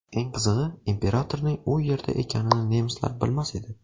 Eng qizig‘i, imperatorning u yerda ekanini nemislar bilmas edi.